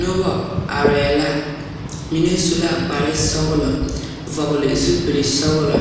Noba arɛɛ la mine su la kpar sɔgelɔ vɔgele zupili sɔgelɔ